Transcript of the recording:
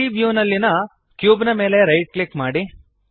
3ದ್ ವ್ಯೂನಲ್ಲಿಯ ಕ್ಯೂಬ್ ಮೇಲೆ ರೈಟ್ ಕ್ಲಿಕ್ ಮಾಡಿರಿ